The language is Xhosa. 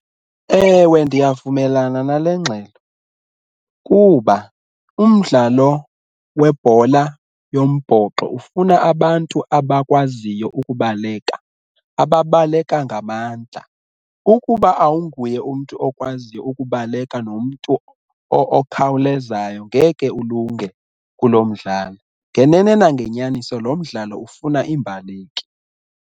Ewe, ndiyavumelana nale ngxelo kuba umdlalo webhola yombhoxo ufuna abantu abakwaziyo ukubaleka ababaleka ngamandla. Ukuba awunguye umntu okwaziyo ukubaleka nomntu okhawulezayo ngeke ulunge kulo mdlalo. Ngenene nangenyaniso lo mdlalo ufuna iimbaleki.